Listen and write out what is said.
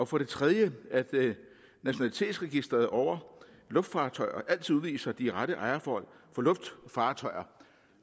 for det tredje at nationalitetsregisteret over luftfartøjer altid viser de rette ejerforhold